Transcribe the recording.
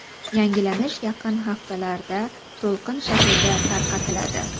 Yangilanish yaqin haftalarda to‘lqin shaklida tarqatiladi.